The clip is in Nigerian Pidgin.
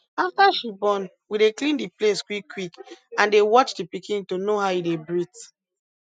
after she born we dey clean the place quick quick and dey watch the pikin to know how e dey breathe